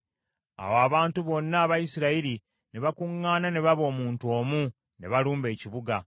Awo abantu bonna aba Isirayiri ne bakuŋŋaana ne baba omuntu omu, ne balumba ekibuga.